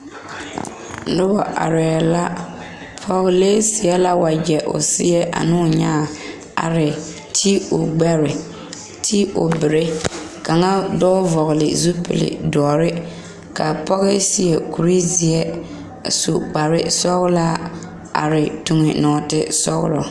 Noba arɛɛ la pɔɔlee seɛ la wagyɛ o seɛ ane o nyaa a ti o gbɛre a ti o berɛ kaŋa ka ba vɔgele zupili doɔre ka pɔge seɛ kuri zeɛ a su kparevsɔgelaa are tuŋ nɔɔte sɔgelɔ